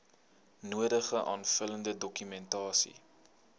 nodige aanvullende dokumentasie